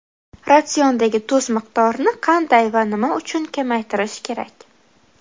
Ratsiondagi tuz miqdorini qanday va nima uchun kamaytirish kerak?.